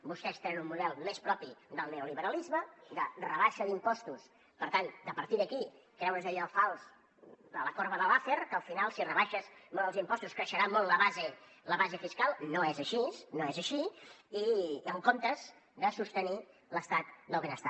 vostès tenen un model més propi del neoliberalisme de rebaixa d’impostos per tant de a partir d’aquí creure’s allò fals de la corba de laffer que al final si rebaixes molt els impostos creixerà molt la base fiscal no és així no és així i en comptes de sostenir l’estat del benestar